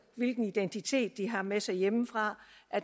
hvilken identitet de har med sig hjemmefra